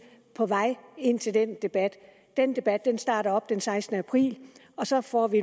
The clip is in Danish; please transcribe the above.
på vej ind til den debat den debat starter op den sekstende april og så får vi